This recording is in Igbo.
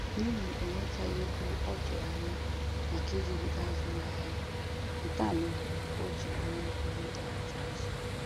N'ihi o nwetaghị ego ọ tụrụ anya maka iji bido azụmahịa ya, nke a mere o ji nwee ihe ndọghachi azụ